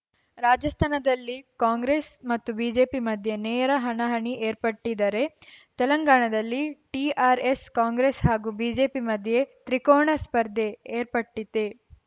ರಾಜಸ್ಥಾನದಲ್ಲಿ ಕಾಂಗ್ರೆಸ್‌ ಮತ್ತು ಬಿಜೆಪಿ ಮಧ್ಯೆ ನೇರ ಹಣಾಹಣಿ ಏರ್ಪಟ್ಟಿದ್ದರೆ ತೆಲಂಗಾಣದಲ್ಲಿ ಟಿಆರ್‌ಎಸ್‌ ಕಾಂಗ್ರೆಸ್‌ ಹಾಗೂ ಬಿಜೆಪಿ ಮಧ್ಯೆ ತ್ರಿಕೋಣ ಸ್ಪರ್ಧೆ ಏರ್ಪಟ್ಟಿತ್ತೇ